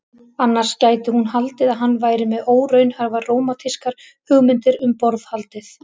Annars gæti hún haldið að hann væri með óraunhæfar rómantískar hugmyndir um borðhaldið.